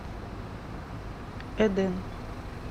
эден